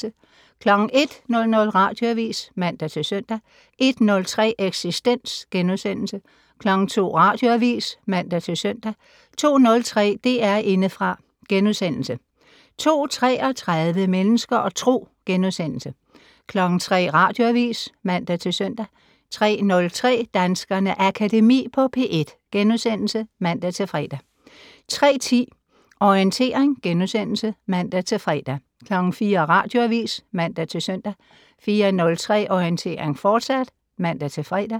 01:00: Radioavis (man-søn) 01:03: Eksistens * 02:00: Radioavis (man-søn) 02:03: DR Indefra * 02:33: Mennesker og Tro * 03:00: Radioavis (man-søn) 03:03: Danskernes Akademi på P1 *(man-fre) 03:10: Orientering *(man-fre) 04:00: Radioavis (man-søn) 04:03: Orientering, fortsat (man-fre)